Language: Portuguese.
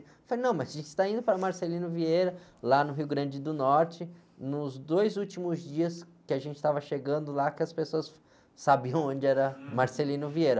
Eu falei, não, mas a gente está indo para Marcelino Vieira, lá no Rio Grande do Norte, nos dois últimos dias que a gente estava chegando lá, que as pessoas sabiam onde era Marcelino Vieira.